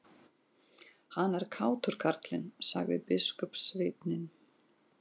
Hann er kátur, karlinn, sagði biskupssveinninn.